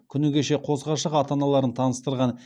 күні кеше қос ғашық ата аналарын таныстырған